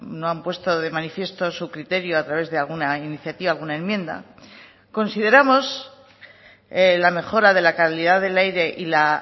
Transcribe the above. no han puesto de manifiesto su criterio a través de alguna iniciativa alguna enmienda consideramos la mejora de la calidad del aire y la